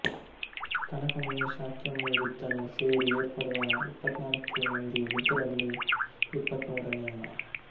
ಕನಕಮುನಿ ಶಾಕ್ಯಮುನಿಬುದ್ಧನೂ ಸೇರಿ ಏರ್ಪಡುವ ಇಪ್ಪತ್ತನಾಲ್ಕು ಮಂದಿ ಬುದ್ಧರಲ್ಲಿ ಇಪ್ಪತ್ತಮೂರನೆಯವ